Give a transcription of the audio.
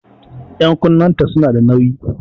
Ƴan'kunnen ta su na da nauƴi